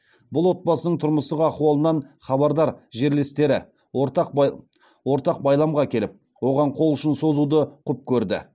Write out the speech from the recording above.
бұл отбасының тұрмыстық ахуалынан хабардар жерлестері ортақ байламға келіп оған қол ұшын созуды құп көрді